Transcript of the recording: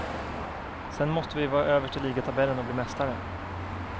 Sen måste vi vara överst i ligatabellen och bli mästare.